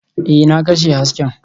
Ee, na kashe hasken